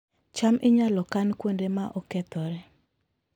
cham inyalo kan kuonde ma okethore